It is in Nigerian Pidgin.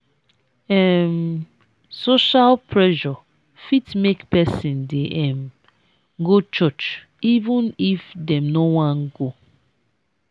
um social pressure fit make person dey um go church even if dem no wan go.